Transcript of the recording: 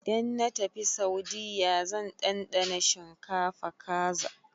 Idan na tafi Saudiyya zan ɗanɗana shinkafa-kaza.